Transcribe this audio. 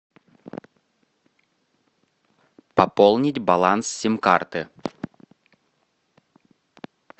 пополнить баланс сим карты